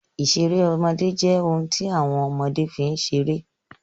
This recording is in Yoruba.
Ìṣeré ọmọdé jẹ́ àwọn ohun tí ọmọdé fi ń ṣeré.